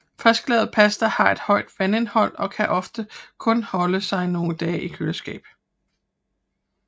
Frisklavet pasta har et højt vandindhold og kan ofte kun holde sig nogle dage i køleskab